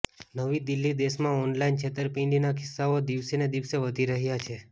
નવી દિલ્હીઃ દેશમાં ઓનલાઈન છેતરપિંડીના કિસ્સાઓ દિવસેને દિવસે વધી રહ્યા છે